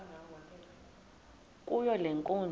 kuyo le nkundla